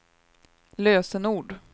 lösenord